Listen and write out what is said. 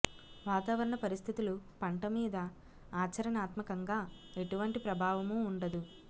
వాతావరణ పరిస్థితులు పంట మీద ఆచరణాత్మకంగా ఎటువంటి ప్రభావము ఉండదు